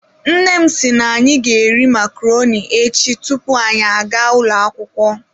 Nne m si na anyi ga eri macaroni echi tupu anyị agaa ụlọ akwukwo.